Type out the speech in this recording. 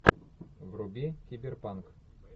вруби киберпанк